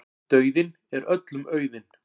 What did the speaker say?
Dauðinn er öllum auðinn.